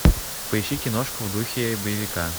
поищи киношку в духе боевика